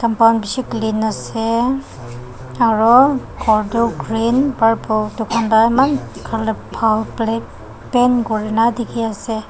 pound bishi clean ase aro khor toh green purple edu khan pa eman colour bhal paint kurina dikhiase.